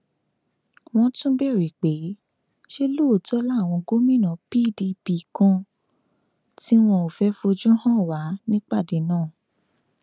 wọn tún béèrè pé ṣé lóòótọ làwọn gómìnà pdp kan tí wọn ò fẹẹ fojú hàn wà nípàdé náà